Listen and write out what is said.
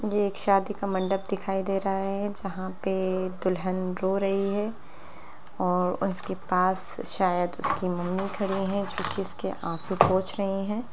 ये एक शादी का मंडप दिखाई दे रहा है जहाँ पे दुल्हन रो रही है और उसके पास शयद उसकी मम्मी खड़ी है जोकि आसु पोछ रही हैं ।